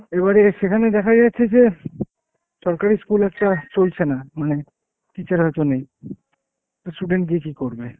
এবারে সেখানে দেখা যাচ্ছে যে সরকারি school একটা চলছে না, মানে teacher হয়তো নেই। তো student গিয়ে কি করবে?